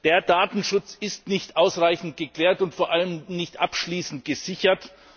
Der Datenschutz ist nicht ausreichend geklärt und vor allem nicht abschließend gesichert.